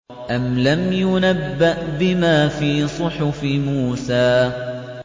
أَمْ لَمْ يُنَبَّأْ بِمَا فِي صُحُفِ مُوسَىٰ